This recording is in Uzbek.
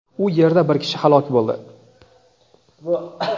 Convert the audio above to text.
u yerda bir kishi halok bo‘ldi.